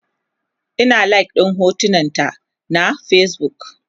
Ina like ɗin hotunan ta na Facebook